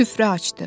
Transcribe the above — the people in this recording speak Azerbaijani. Süfrə açdı.